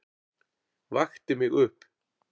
Vakti mig upp.